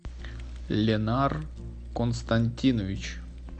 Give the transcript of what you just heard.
ленар константинович